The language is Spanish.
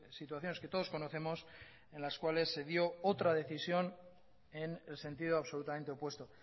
situaciones que todos conocemos en las cuales se dio otra decisión en el sentido absolutamente opuesto